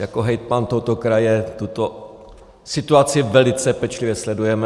Jako hejtman tohoto kraje tuto situaci velice pečlivě sledujeme.